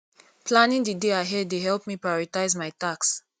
planning the day ahead dey help me prioritize my tasks